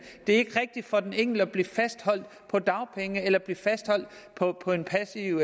det er ikke rigtigt for den enkelte at blive fastholdt på dagpenge eller blive fastholdt på en passiv